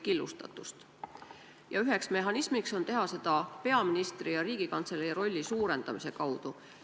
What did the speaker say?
Üks mehhanisme on teha seda peaministri ja Riigikantselei rolli suurendamise kaudu.